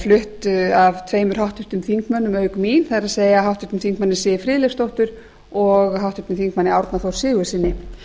flutt af tveimur háttvirtum þingmönnum auk mín það er háttvirtur m siv friðleifsdóttur og háttvirtum þingmanni árna þór sigurðssyni